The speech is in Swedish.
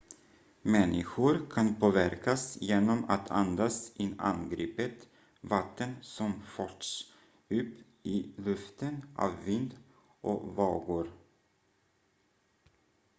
människor kan påverkas genom att andas in angripet vatten som förts upp i luften av vind och vågor